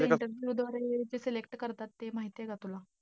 द्वारे select ते करतात ते माहितीये का तुला?